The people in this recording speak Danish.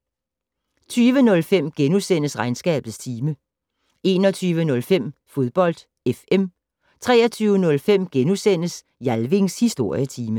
20:05: Regnskabets time * 21:05: Fodbold FM 23:05: Jalvings Historietime *